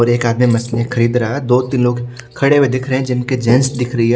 और एक आदमी मशीने खरीद रहा है दो तीन लोग खड़े हुए दिख रहे हैं जिनके जेंस दिख रही है।